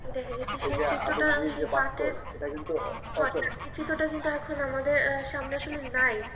সেই চিত্রটাই সেই পাটের আমাদের সামনে আসলে নাই